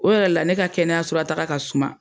O yɛrɛ la ne ka kɛnɛyasola taaga ka suma.